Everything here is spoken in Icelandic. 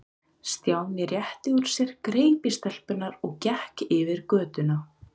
Stjáni rétti úr sér, greip í stelpurnar og gekk yfir götuna.